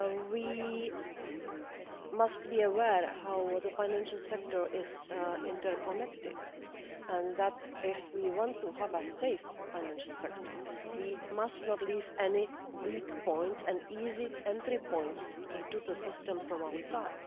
We must be aware of how the financial sector is interconnected and that, if we want to have a safe financial sector, we must not leave any weak points or easy entry points into the system from outside.